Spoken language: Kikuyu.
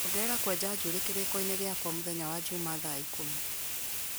Ongerera kwenja njuĩrĩ kĩrĩko-inĩ gĩakwa mũthenya wa njuma thaa ikũmi